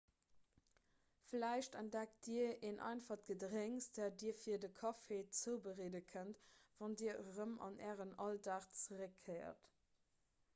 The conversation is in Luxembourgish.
vläicht entdeckt dir en einfacht gedrénks dat dir fir de kaffi zoubereede kënnt wann dir erëm an ären alldag zeréckkéiert